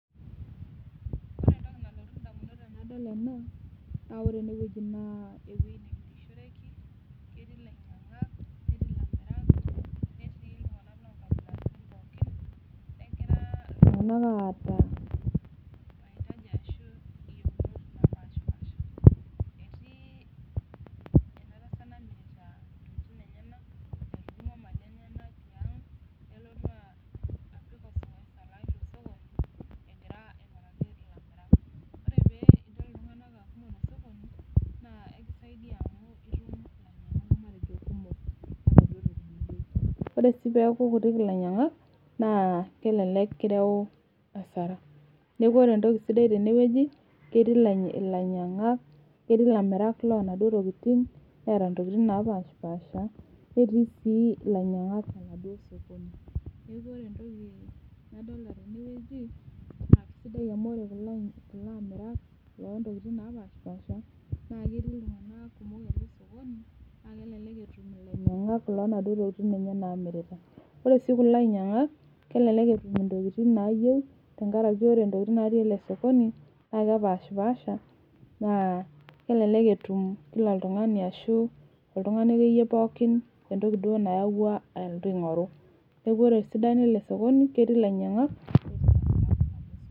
ore entoki nalotu idamunot tenadol ena naa ore eneweji naa eweji nemirishoreki, ketii ilanyiang'ak netii ilamirak, negira iltung'anak ata maitaji ashu iyieunot etii eda tasat omirta intokitin enyanak etudumua intokitin enyanak tiang' nelotu amir teneweji, ore pee ilotu amir intokitin inonok te sokoni naa ekisaidia amu itum ilainyang'ak kumok, ore sii peeku kutik ilainyang'ak naa kelelek kireo asara neeku ore entoki sidai sidai tene ketii ilanyiang'ak ketii ilamirak loo inaduo tokitin, neeta itokitin napashipaasha netii sii ilanyiang'ak enaduo sokoni, neeku ore entoki nadolta teneweji naa kisidai amu ore kulo amirak naa keeta intokitin naapashipasha, naa kelelek etum iladuo anyiang'ak , ore sii kulo anyiang'ak kelelek etum intokitin naayieu.